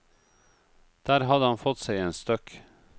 Der hadde han fått seg en støkk.